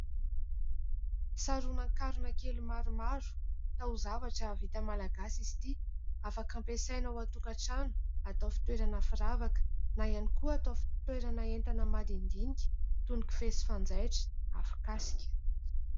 Saronan-karona kely maromaro taozavatra vita malagasy izy ity afaka ampiasana ao an-tokatrano atao fitoerana firavaka na ihany koa atao fitoerana entana madinidinika toy ny kofehy, fanjaitra, afokasika.